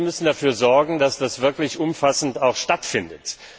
Also, Sie müssen dafür sorgen, dass das auch wirklich umfassend stattfindet!